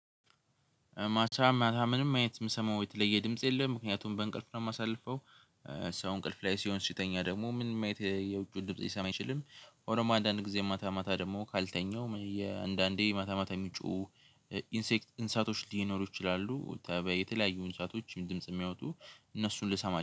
ማታ ማታ ምንም አይነት የምሰማው የተለየ ድምጽ የለም። ምክንያቱም በእንቅልፍ ነው የማሳልፈው። ሰው እንቅልፍ ላይ ሲሆን ሲተኛ ደግሞ ምንም አይነት የውጭውን ድምጽ ሊሰማ አይችልም ሆኖም አንዳንድ ጊዜ ማታ ማታ ደግሞ ካልተኛሁ የአንዳንዴ ማታ ማታ የሚጮሁ ኢንሴክት እንስሳቶች ሊኖሩ ይችላሉ። ተባያ የተለያዩ እንስሳቶችን ድምጽ ሚያወጡ እነሱን ልሰማ